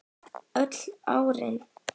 Öll örin.